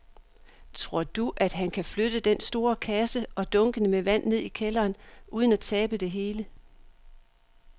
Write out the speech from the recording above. Tror du, at han kan flytte den store kasse og dunkene med vand ned i kælderen uden at tabe det hele?